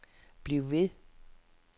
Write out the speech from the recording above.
bliv ved